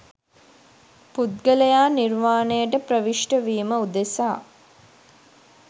පුද්ගලයා නිර්වාණයට ප්‍රවිශ්ට වීම උදෙසා